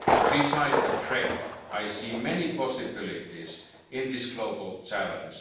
walk away from science. Besides a threat, I see many possibilities in